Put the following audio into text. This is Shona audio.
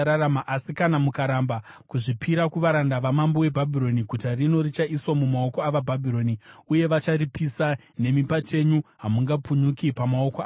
Asi kana mukaramba kuzvipira kuvaranda vamambo weBhabhironi, guta rino richaiswa mumaoko avaBhabhironi uye vacharipisa; nemi pachenyu hamungapukunyuki pamaoko avo.’ ”